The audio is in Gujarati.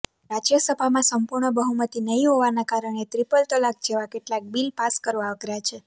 રાજ્યસભામાં સંપૂર્ણ બહુમતી નહીં હોવાને કારણે ટ્રિપલ તલાક જેવા કેટલાક બિલ પાસ કરવા અઘરા છે